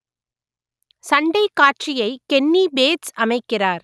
சண்டைக் காட்சியை Kenny Bates அமைக்கிறார்